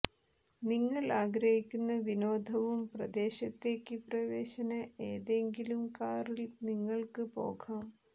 നിങ്ങൾ ആഗ്രഹിക്കുന്ന വിനോദവും പ്രദേശത്തേക്ക് പ്രവേശന ഏതെങ്കിലും കാറിൽ നിങ്ങൾക്ക് പോകാം